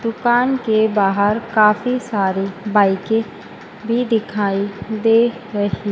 दुकान के बाहर काफी सारी बाईकें भी दिखाई दे रही--